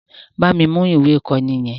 Bámi mú ìwé ìkọ́ni yẹn!